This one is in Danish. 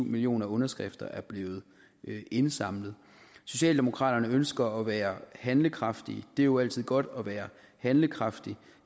millioner underskrifter er blevet indsamlet socialdemokraterne ønsker at være handlekraftige det er jo altid godt at være handlekraftig